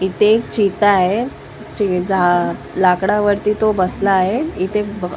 इथे एक चिता आहे चे जा लाकडावरती तो बसला आहे इथे ब भ व--